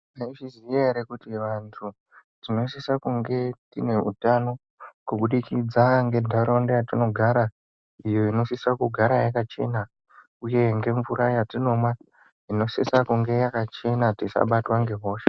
Mwai zviziya ere kuti vantu tinosisa kunge tine utano, kubudikidza ngentaraunda yetinogara, iyo inosisa kugara yakachena, uye ngemvura yetinomwa inosisa kunge yakachena, tisabatwa ngehosha .